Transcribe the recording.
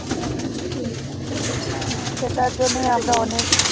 হ্যাঁ সেটার জন্যেই